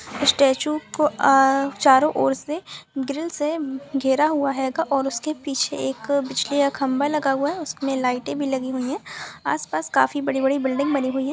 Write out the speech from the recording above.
Statue को अ चारो और से ग्रिल से घेरा हुआ हैगा उसके पीछे एक बिल्जली का खम्भा लगा हुआ है उसमे लाइटे भी लगी हुई है आस पास काफी बड़ी-बड़ी बिल्डिंग बनी हुई है।